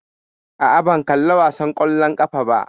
Aa, ban kalla wasan ƙwallon ƙafa ba